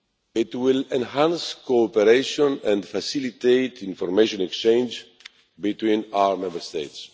It will enhance cooperation and facilitate information exchange between our Member States.